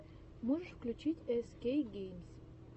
можешь включить эс кей геймс